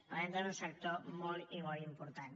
parlem doncs d’un sector molt i molt important